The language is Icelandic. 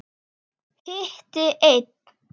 Hitti einn.